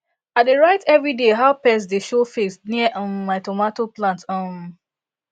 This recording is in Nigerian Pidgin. i dey write every day how pest dey show face near um my tomato plant um